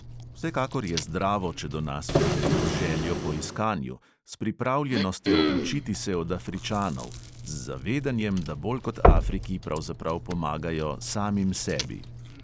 Vsekakor je zdravo, če do nas pridejo z željo po iskanju, s pripravljenostjo učiti se od afričanov, z zavedanjem, da bolj kot afriki pravzaprav pomagajo samim sebi.